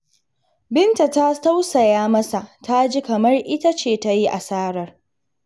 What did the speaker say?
Binta ta tausaya masa, ta ji kamar ita ce ta yi asarar.